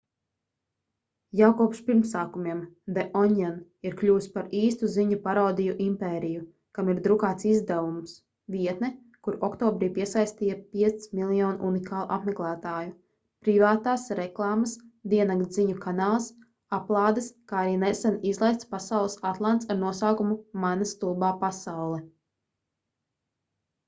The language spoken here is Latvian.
jau kopš pirmsākumiem the onion ir kļuvis par īstu ziņu parodiju impēriju kam ir drukāts izdevums vietne kura oktobrī piesaistīja 5 000 000 unikālu apmeklētāju privātās reklāmas diennakts ziņu kanāls aplādes kā arī nesen izlaists pasaules atlants ar nosaukumu mana stulbā pasaule